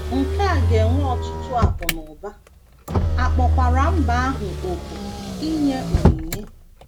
Nke a ga - ewe ọtụtụ akụ̀ na ụba, a kpọkwara mba ahụ òkù inye onyinye.